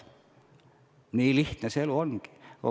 Nii lihtne see elu ongi.